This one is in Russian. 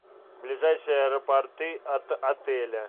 ближайшие аэропорты от отеля